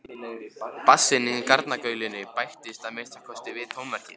Bassinn í garnagaulinu bættist að minnsta kosti við tónverkið.